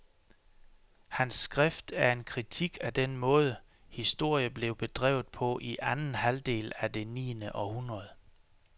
Hans skrift er en kritik af den måde, historie blev bedrevet på i anden halvdel af det et niende århundrede.